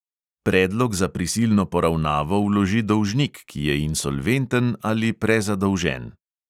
Predlog za prisilno poravnavo vloži dolžnik, ki je insolventen ali prezadolžen.